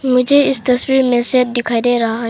मुझे इस तस्वीर मे शेड दिखाई दे रहा है।